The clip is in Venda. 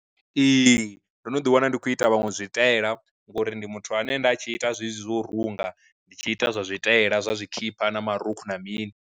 Ee, ndo no ḓi wana ndi khou ita vhaṅwe zwitaela ngori ndi muthu ane nda tshi ita zwezwi zwo u runga, ndi tshi ita zwa zwitaela zwa zwikhipha na marukhu na mini.